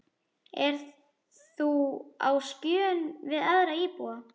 Ert þú á skjön við aðra íbúa?